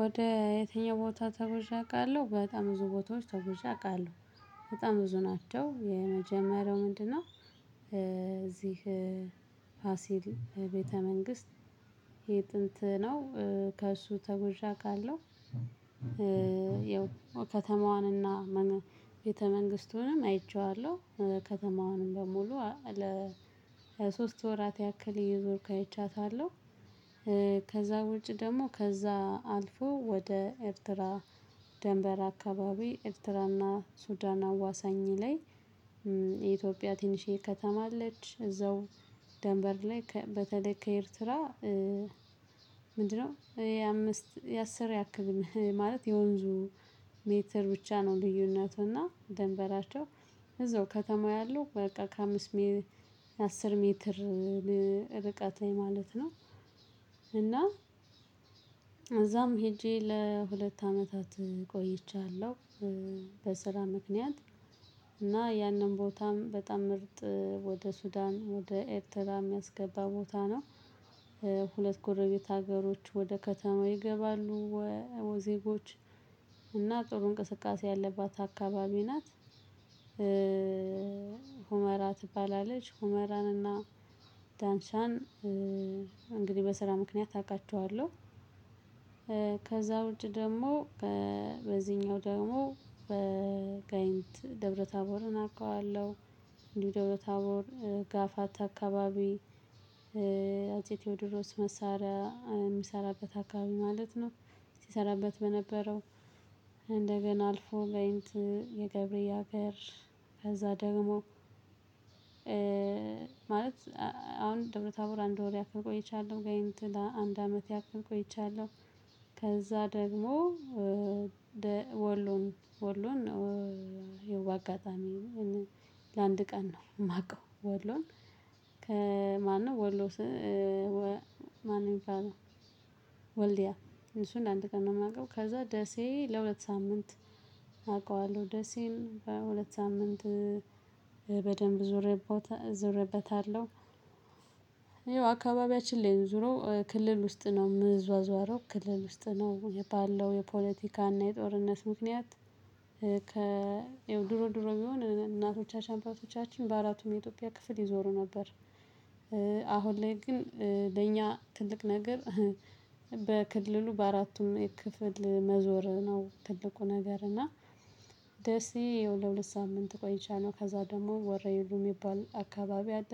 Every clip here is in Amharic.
ወደ የትኛው ቦታ ተጉዠ አቃለሁ በጣም ብዙ ቦታዎች ተጉዠ አቃለሁ በጣም ብዙ ናቸው የመጀመሪያው ምንድነው? እዚህ ፋሲል ቤተ መንግስት የጥንት ነው። ከሱ ተጉዠ አቃለሁ። ከተማዋንና ቤተ መንግስቱንም አይቼዋለሁ ከተማውንም በሙሉ ለሶስት ወራት ያክል እየዞርኩ አይቻታለሁ። ከዛ ውጭ ደግሞ ከዛ አልፎ ወደ ኤርትራ ድንበር አካባቢ ኤርትራና ሱዳን አዋሳኝ ላይ። የኢትዮጵያ ትንሽዬ ከተማ አለች እዛው። ድንበር ላይ በተለይ ከኤርትራ ምንድነው የአምስት የአስር ያክል ማለት የወንዙ ሜትር ብቻ ነው። ልዩነቱና ደንበራቸው እዛው ከተማ ያለው በቃ ከአምስት ሜትር አስር ሜትር ርቀት ማለት ነው። እና እዛም ሄጄ ለሁለት አመታት ቆይቻለሁ። በስራ ምክንያት እና ያንን ቦታም በጣም ምርጥ ወደ ሱዳን ወደ ኤርትራ የሚያስገባ ቦታ ነው። ሁለት ጎረቤት ሀገሮች ወደ ከተማው ይገባሉ ዜጎች እና ጥሩ እንቅስቃሴ ያለባት አካባቢ ናት። ሁመራ ትባላለች ሁመራንና ዳንሻን እንግዲህ በስራ ምክንያት አቃቸዋለሁ። ከውጪ ደግሞ በዚህኛው ደግሞ በጋይንት ደብረ ታቦርን አውቀዋለሁ። እንዲሁ ደብረ ታቦር ጋፋታ አካባቢ አፄ ቴዎድሮስ መሳሪያ የሚሰራበት አካባቢ ማለት ነው። ሲሰራበት በነበረው እንደገና አልፎ ጋይንት የገብርዬ አገር። ከዛ ደግሞ ማለት አሁን ደብረ ታቦር አንድ ወር ያክል ቆይቻለሁ ጋይንት ለአንድ አመት ያክል ቆይቻለሁ። ደግሞ ወሎን ወሎን ነው። ይኸው በአጋጣሚ ለአንድ ቀን ነው የማውቀው ወሎን ከማነው ወሎ? ማነው? ወልዲያ እሱን አንድ ቀን ነው የማውቀው። ከዛ ደሴ ለሁለት ሳምንት አውቃለሁ ደሴን በሁለት ሳምንት በደንብ ዞርበታለሁ። ይኸው አካባቢያችን ላይ ዞሮ ክልል ውስጥ ነው የምዟዟረው ክልል ውስጥ ነው የባለው የፖለቲካ እና የጦርነት ምክንያት። ያው ድሮ ድሮ ቢሆን እናቶቻችን አባቶቻችን በአራቱም የኢትዮጵያ ክፍል ይዞሩ ነበር። አሁን ላይ ግን ለእኛ ትልቅ ነገር። በክልሉ በአራቱም ክፍል መዞር ነው ትልቁ ነገር እና። ደስዬ ለሁለት ሳምንት ቆይቻለው ነው ከዛ ደግሞ ወሬዒሉ ሚባል አካባቢ አለ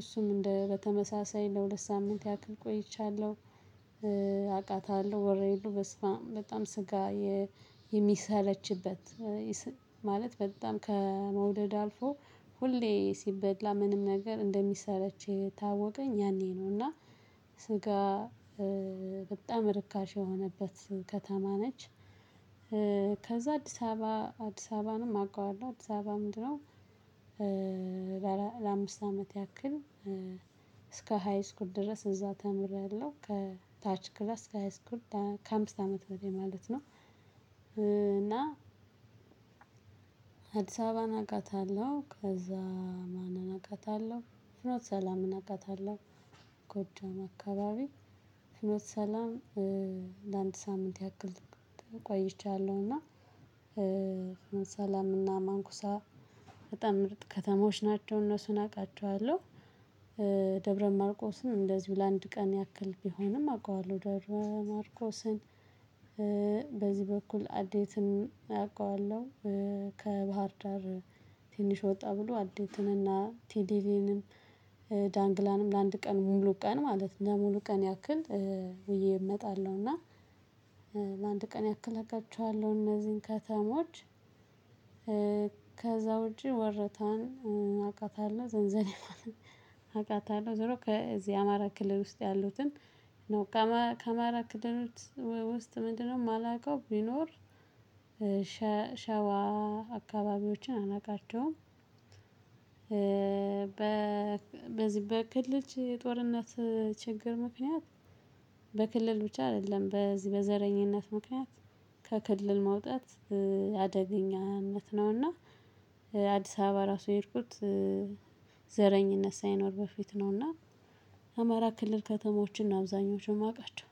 እሱም እንደ በተመሳሳይ ለሁለት ሳምንት ያክል ቆይቻለሁ። አቃታለሁ ወሬዒሉ በስማም በጣም ስጋ የሚሰለችበት ማለት በጣም ከመውደድ አልፎ ሁሌ ሲበላ ምንም ነገር እንደሚሰለች የታወቀኝ ያኔ ነው። እና ስጋ በጣም ርካሽ የሆነበት ከተማ ነች። ከዛ አዲስ አበባ አዲስ አበባንም አውቀዋለሁ አዲስ አበባ ምንድነው? ለአምስት አመት ያክል እስከ ሃይ ስኩል ድረስ እዛ ተምሬአለሁ ከታች ክላስ ከሃይ ስኩል ከአምስት አመት ወዲህ ማለት ነው። እና አዲስ አበባን አቃታለሁ ከዛ ማንን አቃታለሁ ፍኖተ ሰላምን አቃታለሁ። ጎጃም አካባቢ ሰላም ለአንድ ሳምንት ያክል ተቋይቻለሁና። ሰላምና ማንኩሳ በጣም ምርጥ ከተሞች ናቸው እነሱን አቃቸዋለሁ። ደብረ ማርቆስን እንደዚሁ ለአንድ ቀን ያክል ቢሆንም አውቀዋለሁ ደብረ ማርቆስን። በዚህ በኩል አዴትን አውቀዋለሁ። ከባህር ዳር ትንሽ ወጣ ብሎ አዴትንና ቲሊሊንም ዳንግላንም ለአንድ ቀን ሙሉ ቀን ማለት ለሙሉ ቀን ያክል ውዬ እመጣለሁ እና። ለአንድ ቀን ያክል አቃቸዋለሁ እነዚህን ከተሞች። ከዛ ውጪ ወረታን አቃታለሁ ዘንዘልማንም አውቃታለሁ ዞሮ ከዚህ አማራ ክልል ውስጥ ያሉትን ነው። ከአማራ ክልል ውስጥ ምንድነው የማላውቀው ቢኖር። ሸዋ አካባቢዎችን አላውቃቸውም። በዚህ በክልጅ ጦርነት ችግር ምክንያት በክልል ብቻ አይደለም በዚህ በዘረኝነት ምክንያት ከክልል መውጣት አደገኛነት ነውና። አዲስ አበባ ራሱ የሄድኩት ዘረኝነት ሳይኖር በፊት ነውና። አማራ ክልል ከተሞችን አብዛኞቹን ማቃቸው